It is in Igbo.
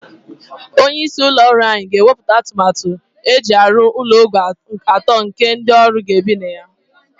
Onye isi ụlọ ọrụ anyị ga-ewepụta atụmatụ eji arụ ụlọ ogo atọ nke ndị ọrụ ga-ebi na ya.